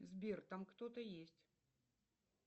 сбер там кто то есть